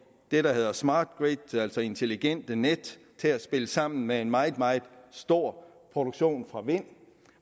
det der hedder smart grid altså intelligente net til at spille sammen med en meget meget stor produktion fra vind